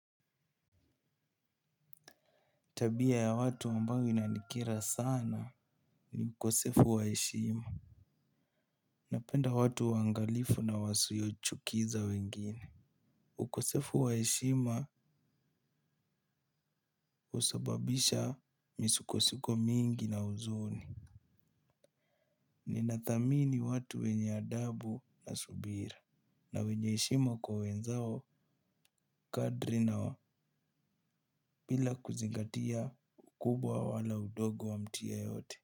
Tabia ya watu ambayo inanikera sana ni ukosefu wa heshima. Napenda watu waangalifu na wasiochukiza wengine. Ukosefu wa heshima husababisha misukosuko mingi na huzuni. Ninathamini watu wenye adabu na subira. Na wenye heshima kwa wenzao kadri na bila kuzingatia ukubwa wala udogo wa mtu yeyote.